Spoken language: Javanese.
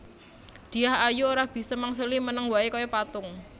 Dyah Ayu ora bisa mangsuli meneng wae kaya patung